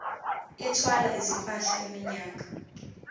ethwala izimpahla iminyaka